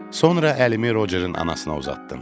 Sonra əlimi Rocerin anasına uzatdım.